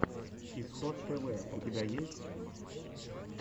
исход тв у тебя есть